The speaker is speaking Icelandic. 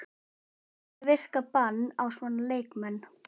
Hvernig virkar bann á svona leikmenn?